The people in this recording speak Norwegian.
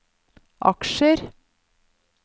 aksjer